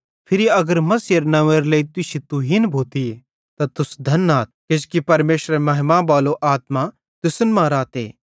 फिरी अगर मसीहेरे नंव्वेरे लेइ तुश्शी तुहीन भोतीए त तुस धन आथ किजोकि परमेशरेरे महिमा बालो आत्मा तुसन मां रहते